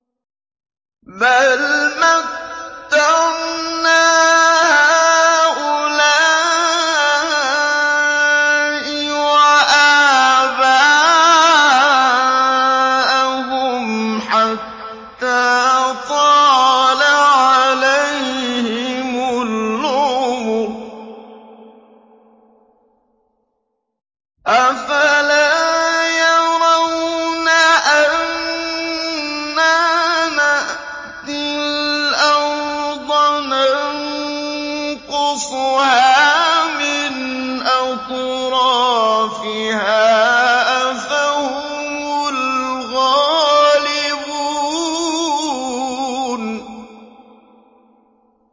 بَلْ مَتَّعْنَا هَٰؤُلَاءِ وَآبَاءَهُمْ حَتَّىٰ طَالَ عَلَيْهِمُ الْعُمُرُ ۗ أَفَلَا يَرَوْنَ أَنَّا نَأْتِي الْأَرْضَ نَنقُصُهَا مِنْ أَطْرَافِهَا ۚ أَفَهُمُ الْغَالِبُونَ